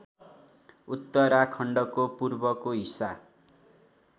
उत्तराखण्डको पूर्वको हिस्सा